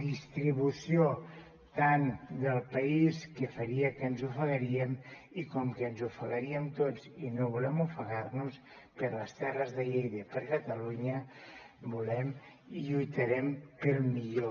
distribució tant del país que faria que ens ofegaríem i com que ens ofegaríem tots i no volem ofegar nos per les terres de lleida i per catalunya volem i lluitarem pel millor